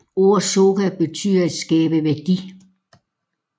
Ordet Soka betyder at skabe værdi